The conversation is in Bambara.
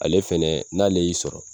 Ale fɛnɛ n'ale y'i sɔrɔ